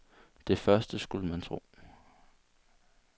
Det første, skulle man tro.